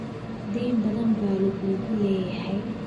deyn badan baa lagugu leeyahay